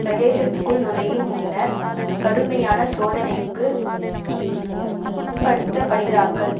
பிரதேசத்துக்குள் நுழையும் முன்னர் கடுமையான சோதனைக்கு உட்படுத்தப்படுகிறார்கள்